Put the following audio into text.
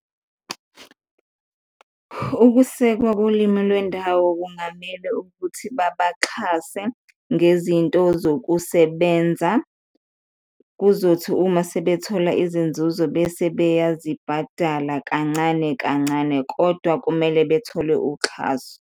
Ukusekwa kolimi lwendawo kungamele ukuthi babaxhase ngezinto zokusebenza, kuzothi uma sebethola izinzuzo bese beyazibhadala kancane kancane kodwa kumele bethole uxhaso